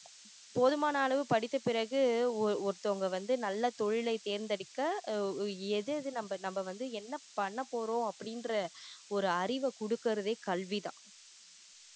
போதுமான அளவு படித்த பிறகு ஒரு~ ஒருத்தவங்க வந்து நல்ல தொழிலை தேர்ந்தெடுக்க எது எது நம்ம நம்ம வந்து என்ன பண்ணபோறோம் அப்படின்ற ஒரு அறிவை கொடுக்குறதே கல்விதான்